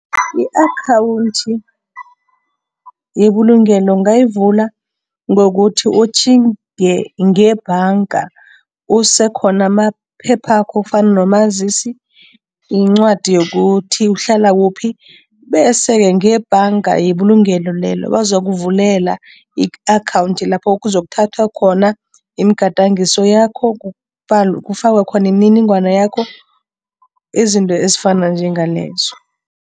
I-akhawundi yebulungelo ungayivula ngokuthi utjhinge ngebhanga, usekhona amaphephakho kufana nomazisi, incwadi yokuthi uhlala kuphi bese-ke ngebhanga yebulungelo lelo, bazokuvulela i-akhawundi lapho kuzokuthathwa khona imigadangiso yakho, kufakwe khona imininingwana yakho, izinto ezifana njengalezo.